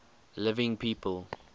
living people